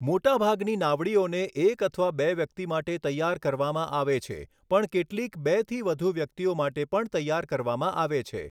મોટાભાગની નાવડીઓને એક અથવા બે વ્યક્તિ માટે તૈયાર કરવામાં આવે છે પણ કેટલીક બેથી વધુ વ્યક્તિઓ માટે પણ તૈયાર કરવામાં આવે છે.